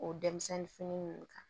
O denmisɛnnin fini ninnu kan